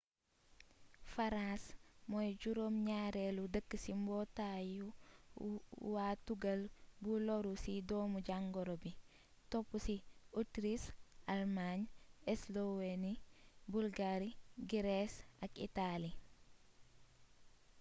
faraas moy juróom ñaarelu dëkk ci mbootayu wa tugal bu loru ci doomu jàngoro bi topusi ótriis almaañ esloweeni bulgaari girees ak itaali